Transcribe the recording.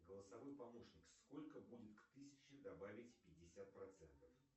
голосовой помощник сколько будет к тысяче добавить пятьдесят процентов